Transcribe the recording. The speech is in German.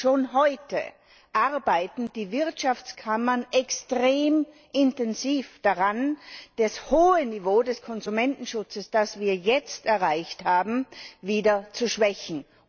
Schon heute arbeiten die Wirtschaftskammern extrem intensiv daran, das hohe Niveau des Konsumentenschutzes, das wir jetzt erreicht haben, wieder zu schwächen.